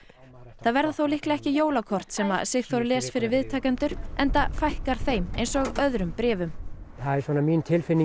það verða þó líklega ekki jólakort sem að Sigþór les fyrir viðtakendur enda fækkar þeim eins og öðrum bréfum það er svona mín tilfinning